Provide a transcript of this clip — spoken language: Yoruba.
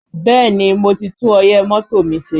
Bẹ́ẹ̀ni, mo ti tún ọyẹ́ mọ́tò mi ṣe